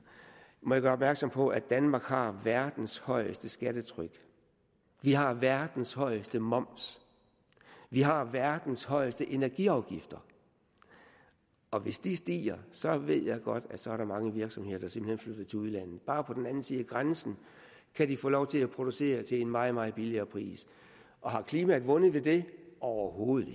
må jeg gøre opmærksom på at danmark har verdens højeste skattetryk vi har verdens højeste moms vi har verdens højeste energiafgifter og hvis de stiger så ved jeg godt at der så er mange virksomheder der simpelt hen flytter til udlandet bare på den anden side af grænsen kan de få lov til at producere til en meget meget billigere pris og har klimaet vundet ved det overhovedet